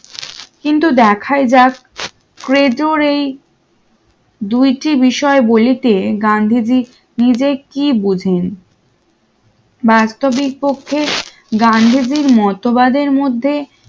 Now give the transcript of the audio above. কিন্তু দেখাই যাক ক্রেজোড়ে ই দুইটি বিষয় বলিতে গান্ধীজি নিজেকে কি বুঝেন বাস্তবিক পক্ষে গান্ধীজীর মতবাদের মধ্যে